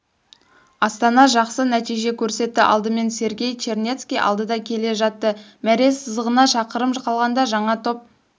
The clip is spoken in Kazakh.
астана жақсы нәтиже көрсетті алдымен сергей чернецкий алдыда келе жатты мәре сызығына шақырым қалғанда жаңа топ